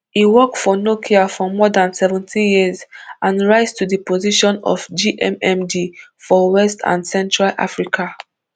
e work for nokia for more dan seventeen years and rise to di position of gmmd for west and central africa